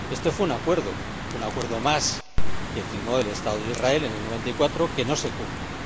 Este fue un acuerdo, un acuerdo más que firmó el Estado de Israel en 1994, que no se cumple.